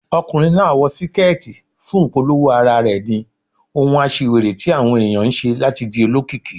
Ọkùnrin náà wọ síkẹ́tì fún ìpolówó ara rẹ̀ ni, ohun aṣiwèrè tí àwọn ẹ̀yàn ń ṣe láti di olókìkí.